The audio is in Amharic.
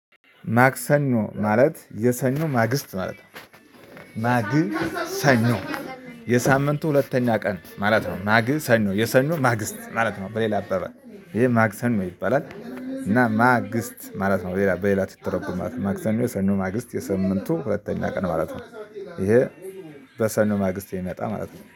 ማክሰኞ ማለት የሰኞ ማግስት ማለት ነው። ማግሰኞ የሳምንቱ ሁለተኛ ቀን ማለት ነው። ማግሰን ነው የሰኖ ማግስት ማለት ነው። በሌላ አባባል ይሄ ማግሰን ነው ይባላል። እና ማግስት ማለት ነው። በሌላ በሌላ ትተረጉም ማለት ነው። ማክሰኞ ሰኞ ማግስት የሳምንቱ ሁለተኛ ቀን ማለት ነው። ይሄ በሰኞ ማግስት የሚመጣ ማለት ነው